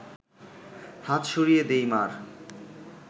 হাত সরিয়ে দিই মা’র